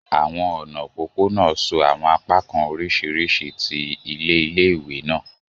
Àwọn ọna opopona so àwọn apakan oriṣiriṣi ti ile ile-iwe naa.